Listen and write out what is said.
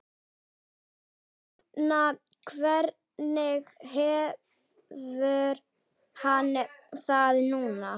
En núna, hvernig hefur hann það núna?